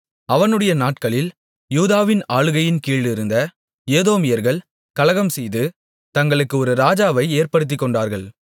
அவனுடைய நாட்களில் யூதாவின் ஆளுகையின்கீழிருந்த ஏதோமியர்கள் கலகம்செய்து தங்களுக்கு ஒரு ராஜாவை ஏற்படுத்திக்கொண்டார்கள்